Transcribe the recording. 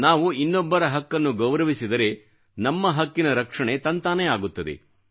ನಾವು ಇನ್ನೊಬ್ಬರ ಹಕ್ಕನ್ನು ಗೌರವಿಸಿದರೆ ನಮ್ಮ ಹಕ್ಕಿನ ರಕ್ಷಣೆ ತಂತಾನೇ ಆಗುತ್ತದೆ